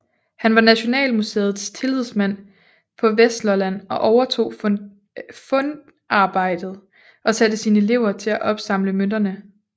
Han var Nationalmuseet tillidsmand på Vestlolland og overtog fundarbejdet og satte sine elever til at opsamle mønterne